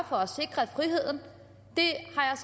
for at sikre friheden